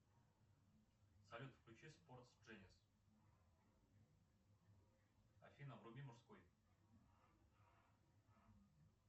салют включи спортс дженис афина вруби мужской